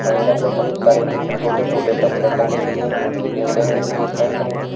Hanger में बहुत सारे छोटे छोटे कपड़े टंगे हुए हैं नीले रंग की टी शर्ट हैं।